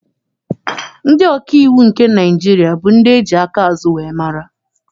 Ndị ọkaiwu nke Naịjirịa bụ ndị eji aka azụ wee mara.